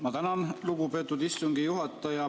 Ma tänan, lugupeetud istungi juhataja!